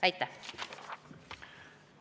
Aitäh!